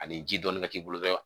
Ani ji dɔɔnin ka k'i bolo dɔrɔn